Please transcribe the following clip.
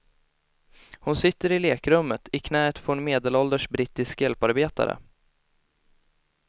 Hon sitter i lekrummet, i knäet på en medelålders brittisk hjälparbetare.